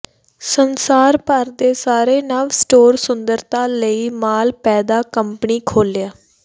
ਸੰਸਾਰ ਭਰ ਦੇ ਸਾਰੇ ਨਵ ਸਟੋਰ ਸੁੰਦਰਤਾ ਲਈ ਮਾਲ ਪੈਦਾ ਕੰਪਨੀ ਖੋਲ੍ਹਿਆ